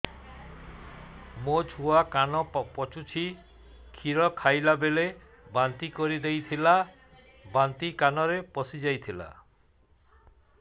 ମୋ ଛୁଆ କାନ ପଚୁଛି କ୍ଷୀର ଖାଇଲାବେଳେ ବାନ୍ତି କରି ଦେଇଥିଲା ବାନ୍ତି କାନରେ ପଶିଯାଇ ଥିଲା